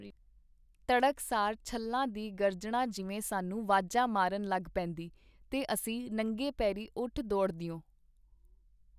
ਤੜਕ ਸਾਰ ਛੱਲਾਂ ਦੀ ਗਰਜਣਾ ਜਿਵੇਂ ਸਾਨੂੰ ਵਾਜਾਂ ਮਾਰਨ ਲਗ ਪੇਂਦੀ, ਤੇ ਅਸੀਂ ਨੰਗੇ ਪੇਰੀਂ ਉਠ ਦੌੜਦਿਓ.